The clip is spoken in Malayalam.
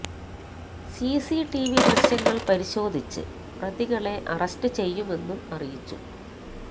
സിസി ടിവി ദൃശ്യങ്ങൾ പരിശോധിച്ച് പ്രതികളെ അറസ്റ്റ് ചെയ്യുമെന്നും അറിയിച്ചു